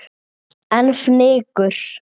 En fnykur